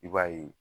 I b'a ye